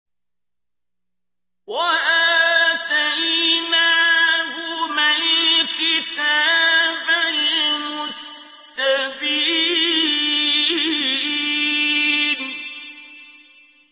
وَآتَيْنَاهُمَا الْكِتَابَ الْمُسْتَبِينَ